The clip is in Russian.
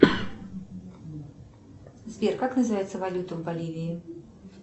сбер как называется валюта в боливии